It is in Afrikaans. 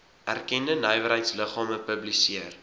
erkende nywerheidsliggame publiseer